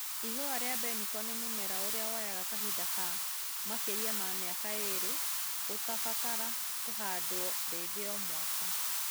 Ihũa rĩa mbeniko nĩ mũmera ũrĩa woyaga kahinda ka makĩrĩ ma mĩaka ĩrĩ ũtabatara kũhandwo rĩngĩ Omwaka.